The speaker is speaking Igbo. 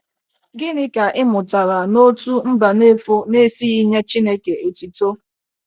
Gịnị ka ị mụtara n’otú Mbanefo na - esighị ‘ nye Chineke otito ’?